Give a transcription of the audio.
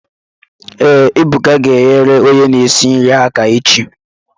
Ee, Ebuka ga enyere onye na-esi nri aka echi